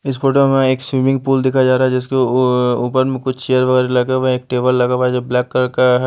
इस फोटो में एक स्विमिंग पूल दिखाया जा रहा है जिसके उउ ऊपर में कुछ चेयर वगैरह लगे हुए हैं एक टेबल लगा हुआ है जो ब्लैक कलर का है।